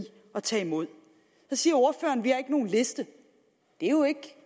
at tage imod så siger ordføreren vi har ikke nogen liste det er jo ikke